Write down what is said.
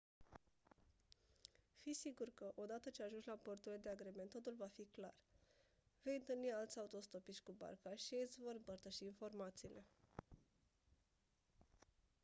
fi sigur că o dată ce ajungi la porturile de agrement totul va fi clar vei întâlni alți autostopiști cu barca și ei îți vor împărtăși informațiile